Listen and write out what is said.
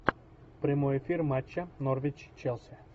прямой эфир матча норвич челси